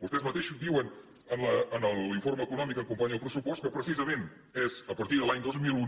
vostès mateixos diuen en l’informe econòmic que acompanya el pressupost que precisament és a partir de l’any dos mil